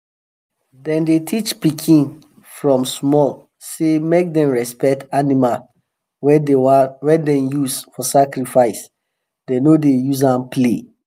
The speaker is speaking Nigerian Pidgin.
them dey teach pikin from small say make them respect animal wey them use for sacrifice them no dey use am play.